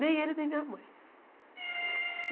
Nem ele, nem minha mãe.